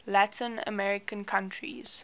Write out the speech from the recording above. latin american countries